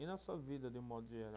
E na sua vida, de um modo geral?